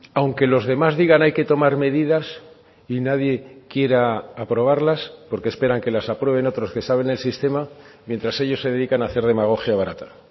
aunque los demás digan hay que tomar medidas y nadie quiera aprobarlas porque esperan que las aprueben otros que saben el sistema mientras ellos se dedican a hacer demagogia barata